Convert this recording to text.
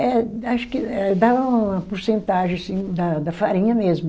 Eh, acho que, eh dava uma porcentagem sim da farinha mesmo.